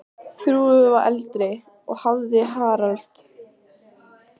Þrúður var eldri og hafði Harald.